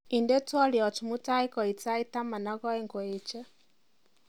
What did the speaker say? inde twolyot mutai koit sait taman ak oeng koeche